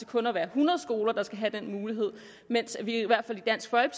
kun er hundrede skoler der skal have den mulighed mens vi i hvert fald